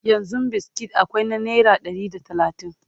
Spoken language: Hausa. yanzun biskit akwai na naira Ɗari da talatin